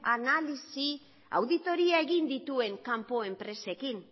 analisi auditoria egin dituen kanpo enpresekin